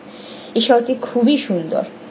এই শহরটি খুবই সুন্দর।